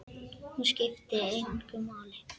Hún skipti hann engu máli.